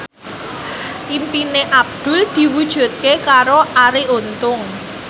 impine Abdul diwujudke karo Arie Untung